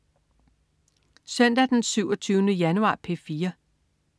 Søndag den 27. januar - P4: